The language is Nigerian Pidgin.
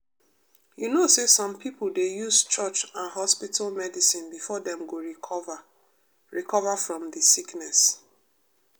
you know say some pipo dey use church and hospital medicine before dem go recover recover from de sickness.